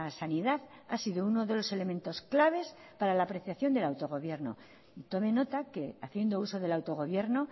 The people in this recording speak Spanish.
sanidad ha sido uno de los elementos claves para la apreciación del autogobierno tome nota que haciendo uso del autogobierno